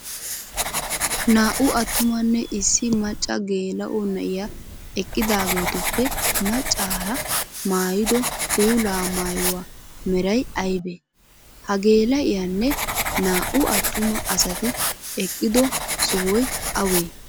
Naa'u atumanne issi macca geela'o na'iyaa eqidaagetuppe maccaara maayido puula maayuwaa meray aybee? Ha geela'iyaanne naa'u atuma asati eqiddo sohoy awee?